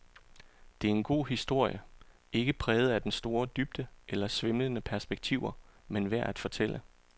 Det er en god historie, ikke præget af den store dybde eller svimlende perspektiver, men værd at fortælle.